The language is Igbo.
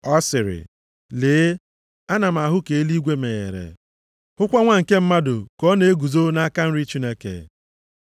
Ọ sịrị, “Lee, ana m ahụ ka eluigwe meghere, hụkwa Nwa nke Mmadụ ka ọ na-eguzo nʼaka nri Chineke.”